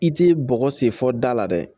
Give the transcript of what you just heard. I tɛ bɔgɔ sen fɔ da la dɛ